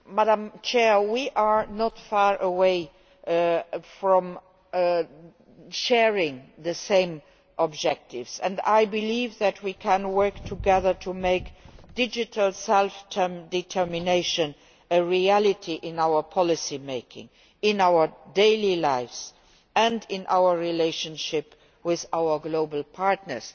Madam President, we are not far from sharing the same objectives, and I believe that we can work together to make digital self determination a reality in our policymaking, our daily lives and our relationship with our global partners.